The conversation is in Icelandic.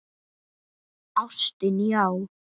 Ástin, já!